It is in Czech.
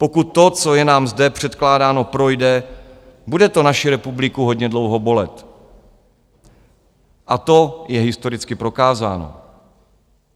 Pokud to, co je nám zde předkládáno, projde, bude to naši republiku hodně dlouho bolet, a to je historicky prokázáno.